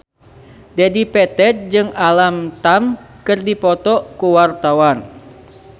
Dedi Petet jeung Alam Tam keur dipoto ku wartawan